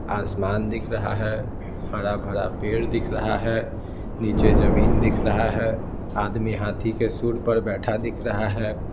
आसमान दिख रहा है हरा भरा पेड़ दिख रहा है नीचे जमीन दिख रहा है आदमी हाथी के सूँड़ पर बैठा दिख रहा है।